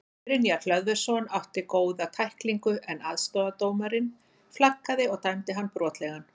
Brynjar Hlöðversson átti góða tæklingu en aðstoðardómarinn flaggaði og dæmdi hann brotlegan.